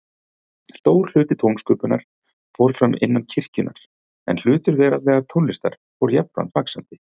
Stór hluti tónsköpunar fór fram innan kirkjunnar, en hlutur veraldlegrar tónlistar fór jafnframt vaxandi.